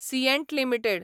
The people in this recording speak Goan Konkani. सियँट लिमिटेड